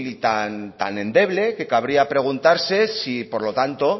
y tan endeble que cabría preguntarse si por lo tanto